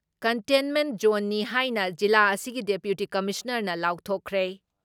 Containment ꯖꯣꯟꯅꯤ ꯍꯥꯏꯅ ꯖꯤꯂꯥ ꯑꯁꯤꯒꯤ ꯗꯤꯄ꯭ꯌꯨꯇꯤ ꯀꯃꯤꯁꯅꯔꯅ ꯂꯥꯎꯊꯣꯛꯈ꯭ꯔꯦ ꯫